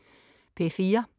P4: